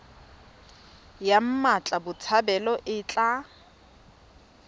ya mmatla botshabelo e tla